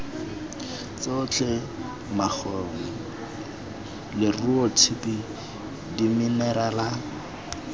tsotlhe makgong leruo tshipi diminerala